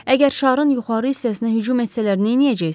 Əgər şarın yuxarı hissəsinə hücum etsələr, nə edəcəksən?